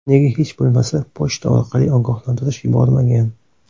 Nega hech bo‘lmasa pochta orqali ogohlantirish yubormagan?